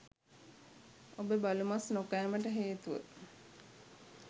ඔබ බලු මස් නොකෑමට හේතුව